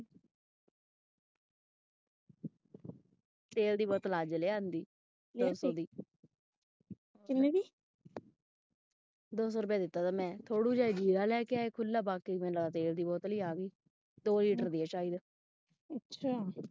ਤੇਲ ਦੀ ਬੋਤਲ ਅੱਜ ਲਿਆਂਦੀ ਦੋ ਸੌ ਦੀ ਦੋ ਸੌ ਰੁਪਏ ਦਿੱਤਾ ਮੈਂ ਥੌੜੂ ਜਿਹਾ ਜੀਰਾ ਲੈ ਕੇ ਆਏ ਖੁੱਲਾ ਬਾਕੀ ਮੈਨੂੰ ਲੱਗਦਾ ਤੇਲ ਦੀ ਬੋਤਲ ਹੀ ਆ ਗਈ ਦੋ ਲੀਟਰ ਦੀ ਐਂ ਸਾਇਦ।